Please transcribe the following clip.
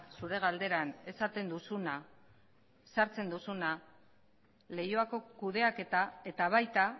zure galderan esaten duzuna sartzen duzuna leioako kudeaketa eta baita